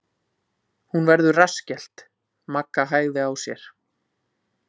Hún verður rassskellt Magga hægði á sér.